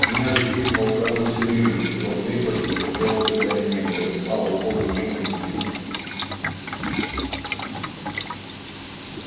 меня лечил полковой цирюльник ибо в крепости другого лекаря не было и слава богу не умничал